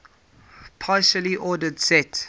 partially ordered set